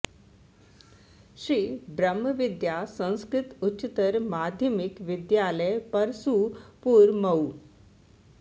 Shri Brahma Vidya Sanskrit Uchchatar Madhyamik Vidyalaya Parsupur Mau